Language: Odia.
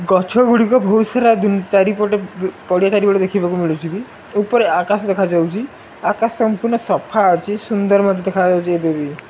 ଗଛଗୁଡ଼ିକ ବୈହୁତ୍ ସାରା ଦୁ ଚାରିପଟେ ପଡ଼ିଆ ଚାରିପଟେ ଦେଖିବାକୁ ମିଳୁଚି ବି। ଉପରେ ଆକାଶ ଦେଖାଯାଉଚି। ଆକାଶ ସମ୍ପୂର୍ଣ ସଫା ଅଛି। ସୁନ୍ଦର ମଧ୍ୟ ଦେଖାଯାଉଚି ଏବେବି।